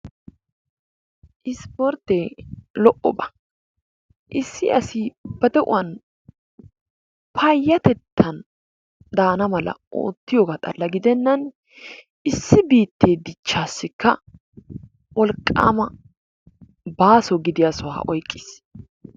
Issippoorttee lo"obaa, issi asi ba de'uwan payatettan daana mala ootiyoga xala gidenan issi biittee dichchaassikka wolqqaama baaso gidiya sohuwa oyqqiis.